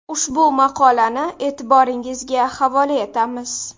Ushbu maqolani e’tiboringizga havola etamiz.